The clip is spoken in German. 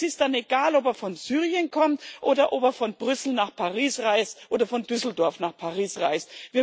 Und es ist dann egal, ob er von Syrien kommt oder ob er von Brüssel nach Paris oder von Düsseldorf nach Paris reist.